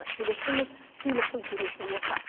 келісіңіз сыйлықтың төресі осы